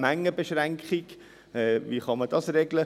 Erstens, die Mengenbeschränkung, wie kann man diese regeln?